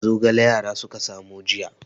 Zogale yara suka samo jiya.